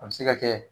A bɛ se ka kɛ